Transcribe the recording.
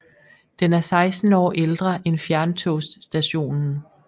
Den er 16 år ældre end fjerntogsstationen